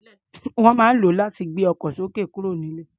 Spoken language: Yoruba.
Wọ́n máa ń lò ó láti gbé ọkọ̀ sókè kúrò nílẹ̀.